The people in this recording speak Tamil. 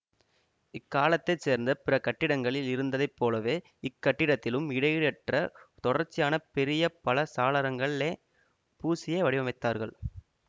இக்காலத்தைச் சேர்ந்த பிற கட்டிடங்களில் இருந்ததைப் போலவே இக் கட்டிடத்திலும் இடையீடற்ற தொடர்ச்சியான பெரிய பல சாளரங்களலே பூசியே வடிவமைத்தார்கல்